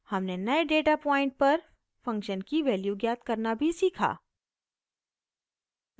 हमने नए data point पर फंक्शन की वैल्यू ज्ञात करना भी सीखा